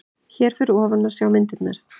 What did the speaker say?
Hér fyrir ofan má sjá myndirnar